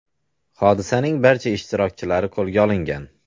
Hodisaning barcha ishtirokchilari qo‘lga olingan.